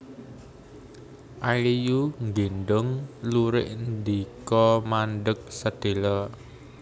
A É Yu nggéndhong lurik ndika mandheg sedhéla